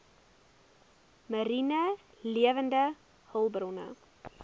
mariene lewende hulpbronne